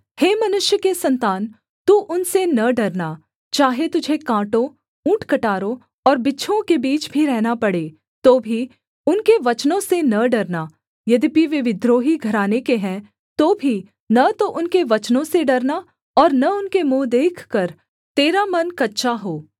हे मनुष्य के सन्तान तू उनसे न डरना चाहे तुझे काँटों ऊँटकटारों और बिच्छुओं के बीच भी रहना पड़े तो भी उनके वचनों से न डरना यद्यपि वे विद्रोही घराने के हैं तो भी न तो उनके वचनों से डरना और न उनके मुँह देखकर तेरा मन कच्चा हो